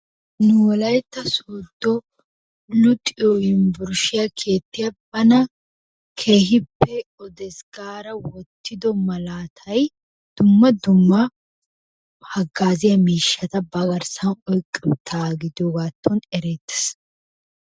Nu wolayitta sooddo luxiyo yuunburshshiya keettiya bana keehippe odees gaada wottido malaatay dumma dumma hagaaziya miishshata ba garssan oyqqi uttaagaa gidiyoogaattuwan ereettes.